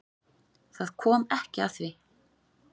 Það kom ekki að því.